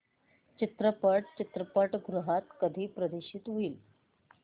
चित्रपट चित्रपटगृहात कधी प्रदर्शित होईल